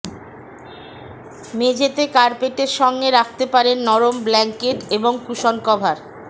মেঝেতে কার্পেটের সঙ্গে রাখতে পারেন নরম ব্ল্যাঙ্কেট এবং কুশন কভার